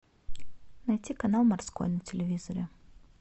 найти канал морской на телевизоре